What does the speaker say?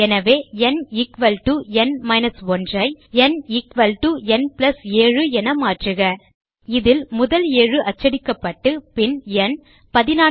எனவே nn 1 ஐ nn 7 என மாற்றுக இதில் முதல் 7 அச்சடிக்கப்பட்டு பின் ந்